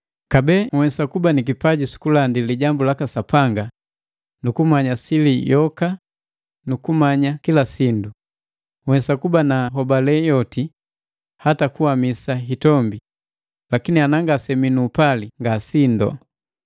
Kabee nhwesa kuba ni kipaji sukulandi lijambu laka Sapanga, nukumanya sili yoka nukumanya kila sindu, nhwesa kuba na hobale yoti hata kuhamisa hitombi, lakini ana ngasemii nu upali nee ngasindo.